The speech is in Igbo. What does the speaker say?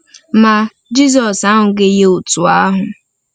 Ma, Jizọs ahụghị ya otu ahụ.